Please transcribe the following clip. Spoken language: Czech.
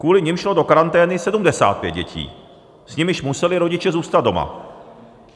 Kvůli nim šlo do karantény 75 dětí, s nimiž museli rodiče zůstat doma.